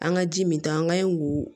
An ka ji min ta an ka ɲi k'o